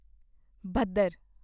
ਭਦਰ